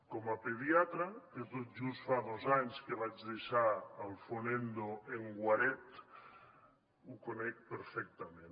com a pediatre que tot just fa dos anys que vaig deixar el fonendo en guaret ho conec perfectament